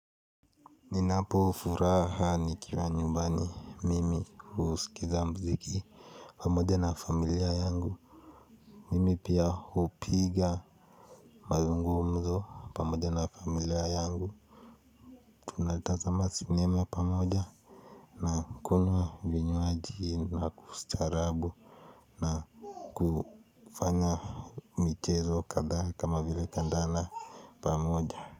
Ninapo furaha nikiwa nyumbani mimi husikiza muziki pamoja na familia yangu. Mimi pia hupiga mazungumzo pamoja na familia yangu. Tunatazama cinema pamoja na kunywa vinywaji na kustaarabu na kufanya michezo kadhaa kama vile kandanda pamoja.